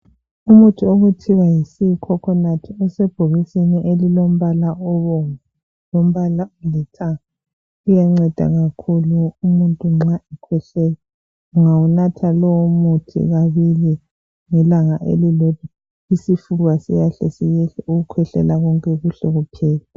Umuthi okuthiwa yi"sea coconut" usebhokisini elilombala obomvu lombala olithanga. Uyanceda kakhulu umuntu nxa ekhwehlela. Ungawunatha lowumuthi kabili ngelanga elilodwa isifuba siiyahle siyehle ukukhwehlela konke kuhle kuphele.